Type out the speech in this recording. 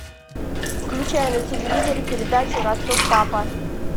включай на телевизоре передачу ростов папа